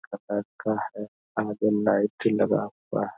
का है आगे लाइट लगा हुआ --